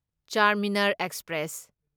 Charminar express